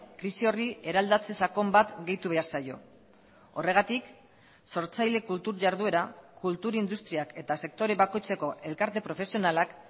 krisi horri eraldatze sakon bat gehitu behar zaio horregatik sortzaile kultur jarduera kultur industriak eta sektore bakoitzeko elkarte profesionalak